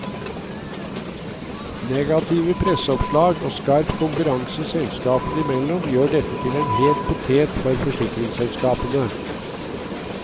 Negative presseoppslag og skarp konkurranse selskapene imellom gjør dette til en het potet for forsikringsselskapene.